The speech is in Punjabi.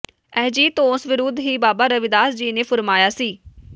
ਅਜਿਹੀ ਧੌਂਸ ਵਿਰੁਧ ਹੀ ਬਾਬਾ ਰਵਿਦਾਸ ਜੀ ਨੇ ਫੁਰਮਾਇਆ ਸੀ